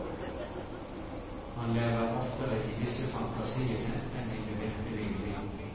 Han lever oftere i disse fantasiene enn i det virkelige liv.